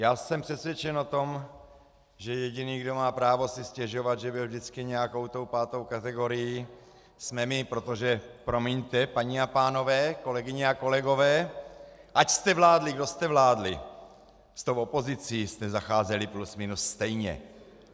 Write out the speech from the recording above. Já jsem přesvědčen o tom, že jediný, kdo má právo si stěžovat, že byl vždycky nějakou tou pátou kategorií, jsme my, protože promiňte, paní a pánové, kolegyně a kolegové, ať jste vládli, kdo jste vládli, s tou opozicí jste zacházeli plus minus stejně.